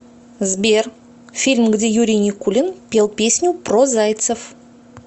сбер фильм где юрий никулин пел песню про зайцев